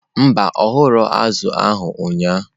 Mba, ọ ṅụrụ azụ̀ a ụnyahụ.